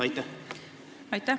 Aitäh!